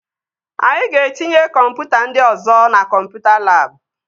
Anyị ga-etinye kọmputa ndị ọzọ na kọmputa labụ